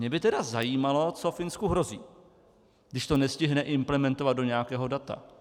Mě by tedy zajímalo, co Finsku hrozí, když to nestihne implementovat do nějakého data.